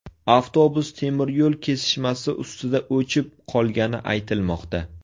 Avtobus temiryo‘l kesishmasi ustida o‘chib qolgani aytilmoqda.